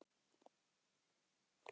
Samt er hún þar.